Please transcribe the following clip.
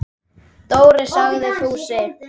Dóri! sagði Fúsi.